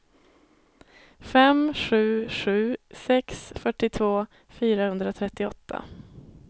fem sju sju sex fyrtiotvå fyrahundratrettioåtta